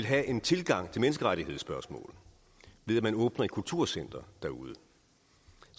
have en tilgang til menneskerettighedsspørgsmål ved at åbne et kulturcenter derude